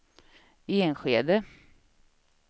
Enskede